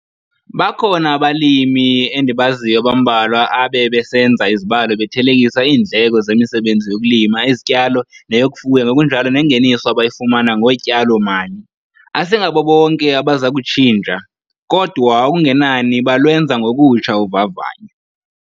Bakhona abalimi endibaziyo abambalwa abebesenza izibalo bethelekisa iindleko zemisebenzi yokulima izityalo neyokufuya ngokunjalo nengeniso abayifumana ngotyalo-mali. Asingabo bonke abaza kutshintsha, kodwa okungenani balwenza ngokutsha uvavanyo.